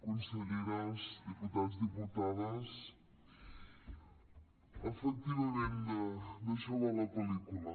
conselleres diputats diputades efectivament d’això va la pel·lícula